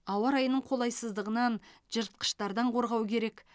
ауа райының қолайсыздығынан жыртқыштардан қорғау керек